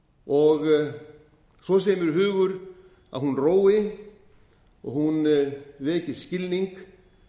svo segir mér hugur að hún rói og hún veki skilning